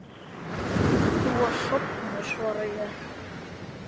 Þú varst sofnuð, svara ég.